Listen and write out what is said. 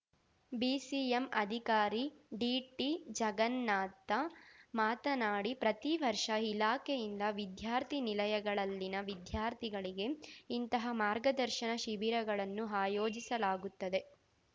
BCM ಅಧಿಕಾರಿ ಡಿಟಿಜಗನ್ನಾಥ ಮಾತನಾಡಿ ಪ್ರತಿವರ್ಷ ಇಲಾಖೆಯಿಂದ ವಿದ್ಯಾರ್ಥಿ ನಿಲಯಗಳಲ್ಲಿನ ವಿದ್ಯಾರ್ಥಿಗಳಿಗೆ ಇಂತಹ ಮಾರ್ಗದರ್ಶನ ಶಿಬಿರಗಳನ್ನು ಆಯೋಜಿಸಲಾಗುತ್ತದೆ